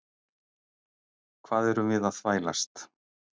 Hvað erum við að þvælast?